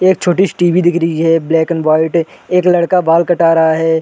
एक छोटी -सी टी.वी दिख रही है ब्लैक एंड वाइट एक लड़का बाल कटा रहा हैं।